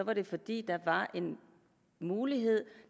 var det fordi der var en mulighed